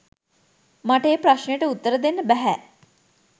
මට ඒ ප්‍රශ්නයට උත්තර දෙන්න බැහැ.